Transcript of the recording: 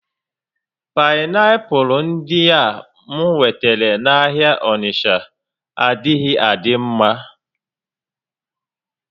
Painiapulu ndia m nwetara n'ahịa Onitsha adighi adi nma